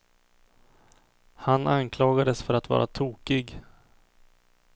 Han anklagades för att vara tokig.